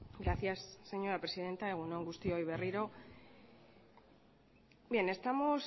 gracias señora presidenta egun on guztioi berriro bien estamos